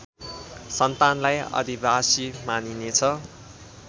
सन्तानलाई आदिवासी मानिनेछ